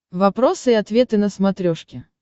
вопросы и ответы на смотрешке